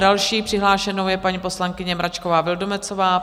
Další přihlášenou je paní poslankyně Mračková Vildumetzová.